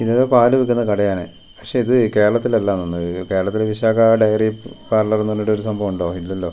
ഇത് പാല് വിൽക്കുന്ന കടയാണ് പക്ഷേ ഇത് കേരളത്തിൽ അല്ല എന്ന് തോന്നുന്നു കേരളത്തില് വിശാഖ ഡെയറി പാർലർ എന്ന് പറഞ്ഞിട്ടുള്ള ഒരു സംഭവം ഉണ്ടോ ഇല്ലല്ലോ.